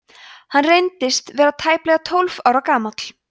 hann reyndist vera tæplega tólf ára gamall